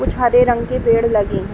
कुछ हरे रंग के पेड़ लगे हैं।